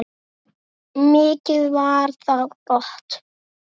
Mikið var það gott.